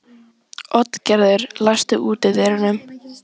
Oddgerður, læstu útidyrunum.